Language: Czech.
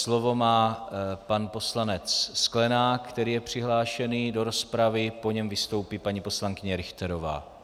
Slovo má pan poslanec Sklenák, který je přihlášený do rozpravy, po něm vystoupí paní poslankyně Richterová.